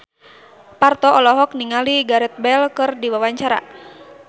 Parto olohok ningali Gareth Bale keur diwawancara